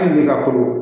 Hali ne ka ko